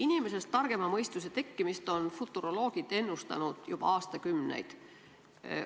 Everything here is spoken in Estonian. Inimesest targema mõistuse tekkimist on futuroloogid ennustanud juba aastakümneid.